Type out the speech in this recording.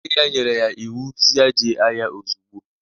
Nne ya nyere ya iwu si ya jee ahịa ozugbo!